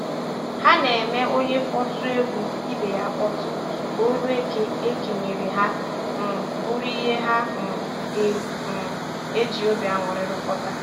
Ha na - eme onye kpọtụ egwu ibe ya akpọtụ, ka ọrụ e kenyere ha um bụrụ ihe ha um ga um - eji obi aṅụrị rụkọta